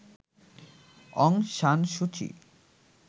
অং San Suu চি